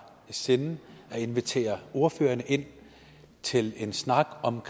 i sinde at invitere ordførerne ind til en snak om